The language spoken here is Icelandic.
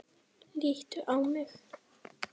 Líttu á mig.